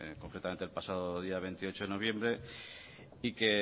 concretamente el pasado día veintiocho de noviembre y que